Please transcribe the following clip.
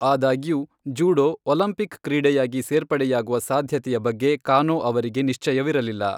ಆದಾಗ್ಯೂ, judo Olympic ಕ್ರೀಡೆಯಾಗಿ ಸೇರ್ಪಡೆಯಾಗುವ ಸಾಧ್ಯತೆಯ ಬಗ್ಗೆ ಕಾನೋ ಅವರಿಗೆ ನಿಶ್ಚಯವಿರಲಿಲ್ಲ.